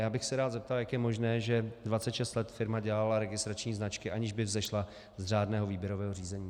Já bych se rád zeptal, jak je možné, že 26 let firma dělala registrační značky, aniž by vzešla z řádného výběrového řízení.